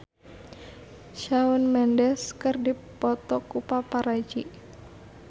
Shawn Mendes dipoto ku paparazi